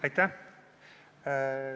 Aitäh!